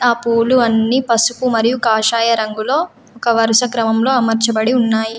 ఆ పూలు అన్నీ పసుపు మరియు కాషాయ రంగులో ఒక వరుస క్రమంలో అమర్చబడి ఉన్నాయి.